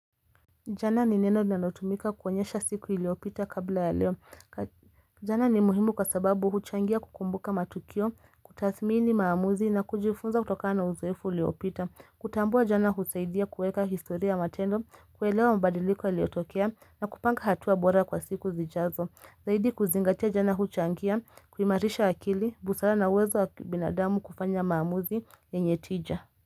Jana ni neno linalotumika kuonyesha siku iliyopita kabla ya leo jana ni muhimu kwa sababu huchangia kukumbuka matukio, kutathmini maamuzi na kujifunza kutokana uzoefu uliopita Kutambua jana husaidia kuweka historia matendo, kuelewa mabadiliko yaliyotokea na kupanga hatua bora kwa siku zijazo Zaiidi kuzingatia jana huchangia, kuimarisha akili, busara na uwezo wa binadamu kufanya maamuzi yenye tija.